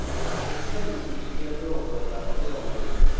Ikĩra gĩcũnjĩ kĩa mĩrongo ĩtano kĩa ũtherĩ